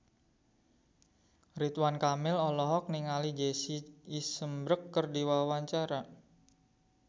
Ridwan Kamil olohok ningali Jesse Eisenberg keur diwawancara